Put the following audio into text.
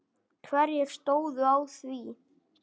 Hverjir stóðu að því?